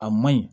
A man ɲi